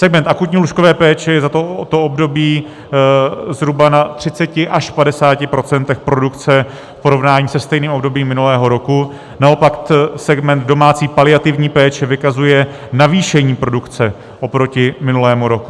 Segment akutní lůžkové péče je za to období zhruba na 30 až 50 % produkce v porovnání se stejným obdobím minulého roku, naopak segment domácí paliativní péče vykazuje zvýšení produkce oproti minulému roku.